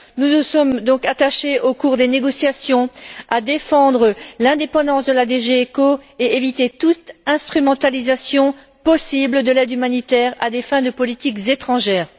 Nous nous sommes donc attachés, au cours des négociations, à défendre l'indépendance de la DG ECO et à éviter toute instrumentalisation possible de l'aide humanitaire à des fins de politiques étrangères.